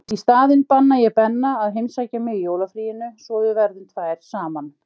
Í staðinn banna ég Benna að heimsækja mig í jólafríinu svo við verðum tvær saman.